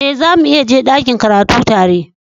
Eh, zamu iya je dakin karatu tare.